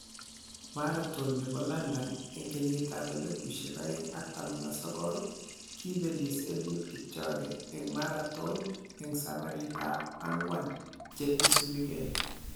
Marathon nebo London en 2019: Kibelis Eliud Kipchoge en marathon en sabarit ab ang'wan che isubugee.